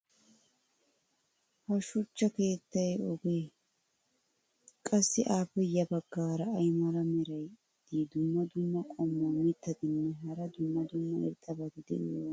ha shuchcha keettay oogee? qassi appe ya baggaara ay mala meray diyo dumma dumma qommo mitattinne hara dumma dumma irxxabati de'iyoonaa?